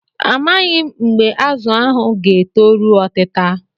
A maghị m mgbe azụ ahụ ga-etoru otita.